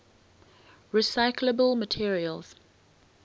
recyclable materials